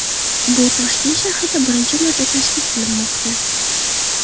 Bu Toshkent shahrida birinchi marta tashkil qilinmoqda.